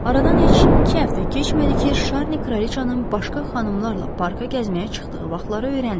Aradan heç iki həftə keçmədi ki, Şarni kraliçanın başqa xanımlarla parka gəzməyə çıxdığı vaxtları öyrəndi.